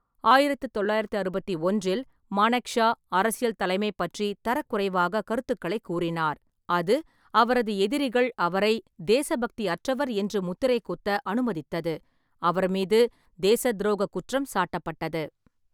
ஆயிரத்து தொள்ளாயிரத்து அறுபத்தொன்றில், மானெக்ஷா அரசியல் தலைமை பற்றி தரக்குறைவாக கருத்துக்களை கூறினார். அது அவரது எதிரிகள் அவரை தேசபக்தி அற்றவர் என்று முத்திரை குத்த அனுமதித்தது. அவர் மீது தேசத்துரோகக் குற்றம் சாட்டப்பட்டது.